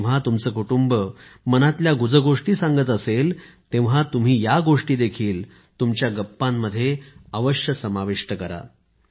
जेव्हा तुमचं कुटुंब मनातल्या गुजगोष्टी सांगत असेल तेव्हा तुम्ही या गोष्टीदेखील तुमच्या गप्पांमध्ये समाविष्ट करा